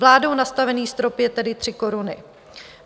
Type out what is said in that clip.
Vládou nastavený strop je tedy 3 koruny.